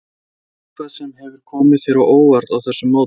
Eitthvað sem hefur komið þér á óvart á þessu móti?